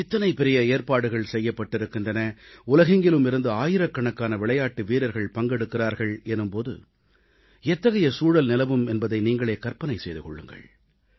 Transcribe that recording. இத்தனை பெரிய ஏற்பாடுகள் செய்யப்பட்டிருக்கின்றன உலகெங்கிலும் இருந்து ஆயிரக்கணக்கான விளையாட்டு வீரர்கள் பங்கெடுக்கிறார்கள் எனும் போது எத்தகைய சூழல் நிலவும் என்பதை நீங்களே கற்பனை செய்து கொள்ளுங்கள்